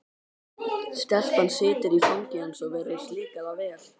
Stelpan situr í fangi hans og virðist líka það vel.